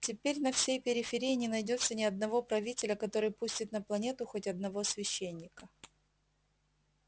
теперь на всей периферии не найдётся ни одного правителя который пустит на планету хоть одного священника